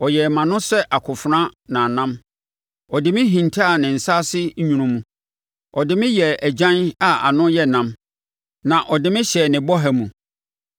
Ɔyɛɛ mʼano sɛ akofena nnamnnam, Ɔde me hintaa ne nsa ase nwunu mu; ɔde me yɛɛ agyan a ano yɛ nnam na ɔde me hyɛɛ ne bɔha mu.